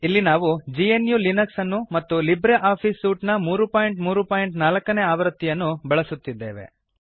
ಇಲ್ಲಿ ನಾವು G N U Linux ಅನ್ನು ಮತ್ತು ಲಿಬ್ರೆ ಆಫೀಸ್ ಸೂಟ್ ನ 334 ನೇ ಆವೃತ್ತಿಯನ್ನು ಬಳಸುತ್ತಿದ್ದೇವೆ